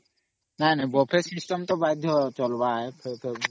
ନାଇଁ Buffet system ନାଇଁ କଲେ ଚାଲବା କେ .